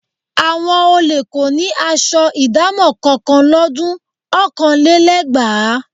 Àwọn olè kò ní aṣọ ìdámọ̀ kankan lọ́dun ọ̀kanlélẹ́gbàá